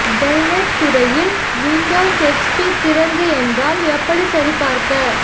del net துறையில் Windows XP திறந்த என்றால் எப்படி சரிபார்க்க